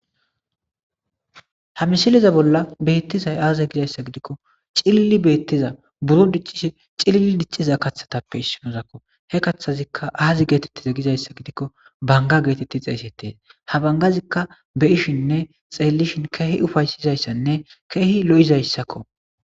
ha misiliza bolla beettizay aaza gizayssa gidikko cilili beettiza buro diccishe cilili dicciza kaththatappe issimozakko he kaththazikka aazi geetettiza gizayssa gidikko banga geetetti xeeysetees ha bangazikka beishinne xeellishin keehi ufaysizayssanne keehi lo7izayssakko